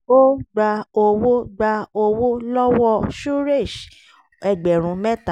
ó gba owó gba owó lọ́wọ́ suresh ẹgbẹ̀rún mẹ́ta